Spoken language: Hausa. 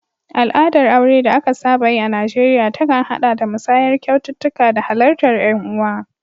Al'adar aure da aka saba yi a Najeriya ta kan haɗa da musayar kyaututtuka da halartar ƴan uwa.